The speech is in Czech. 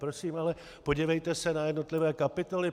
Prosím ale, podívejte se na jednotlivé kapitoly.